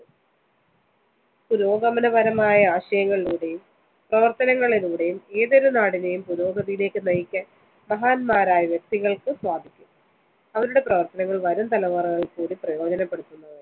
പുരോഗമനപരമായ ആശയങ്ങളിലൂടെയും പ്രവര്‍ത്തനങ്ങളിലൂടെയും ഏതൊരു നാടിനെയും പുരോഗതിയിലേക്ക് നയിക്കാന്‍ മഹാൻമാരായ വ്യക്തികള്‍ക്ക് സാധിക്കും. അവരുടെ പ്രവര്‍ത്തനങ്ങള്‍ വരുംതലമുറകള്‍ക്കൂടി പ്രയോജനപ്പെടുത്തുന്നതാണ്.